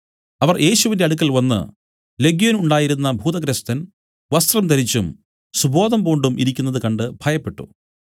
അവർ യേശുവിന്റെ അടുക്കൽ വന്നു ലെഗ്യോൻ ഉണ്ടായിരുന്ന ഭൂതഗ്രസ്തൻ വസ്ത്രം ധരിച്ചും സുബോധം പൂണ്ടും ഇരിക്കുന്നത് കണ്ട് ഭയപ്പെട്ടു